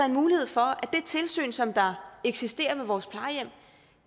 en mulighed for at det tilsyn som eksisterer på vores plejehjem